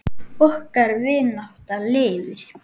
Okkar vinátta lifir.